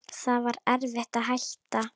Það var erfitt að hætta.